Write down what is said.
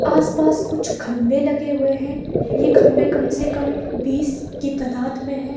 आस पास कुछ खम्भे लगे हुए हैं ये खम्भे कम से कम बीस की तादात में है।